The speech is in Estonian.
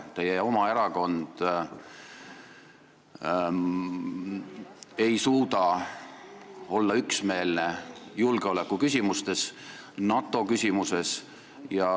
Teie oma erakond ei suuda olla üksmeelne julgeolekuküsimustes, NATO küsimuses.